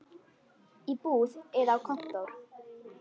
Í búð eða á kontór.